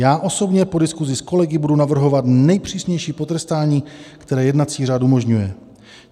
Já osobně po diskuzi s kolegy budu navrhovat nejpřísnější potrestání, které jednací řád umožňuje.